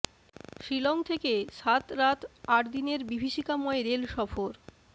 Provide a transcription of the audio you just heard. শিলং থেকে সাত রাত আট দিনের বিভীষিকাময় রেল সফর